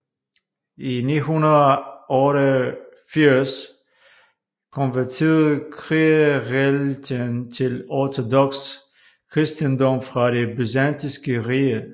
I 988 konverterede krigereliten til ortodoks kristendom fra det Det Byzantinske Rige